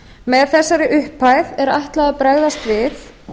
með þessari upphæð er ætlað að bregðast við